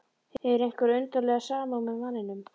Hefur einhverja undarlega samúð með manninum.